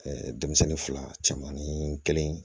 denmisɛnnin fila caman nii kelen